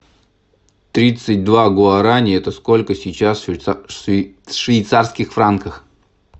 тридцать два гуарани это сколько сейчас в швейцарских франках